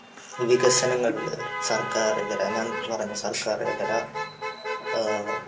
വികസനങ്ങളിൽ സർക്കാർ ഇതര ഞാൻ പറഞ്ഞ സർക്കാർ ഇതര